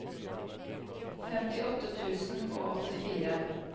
femtiåtte tusen og åttifire